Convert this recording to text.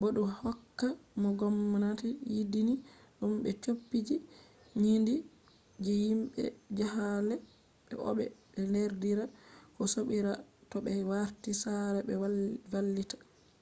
bo du hokka no gomnati yidini dum/ be copiji nyinde ji mabbe je jahale be obbe be derdirabe ko sobirabe toh be warti sare be vallita